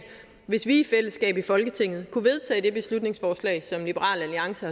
hvis vi i fællesskab i folketinget kunne vedtage det beslutningsforslag som liberal alliance